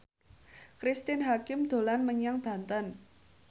Cristine Hakim dolan menyang Banten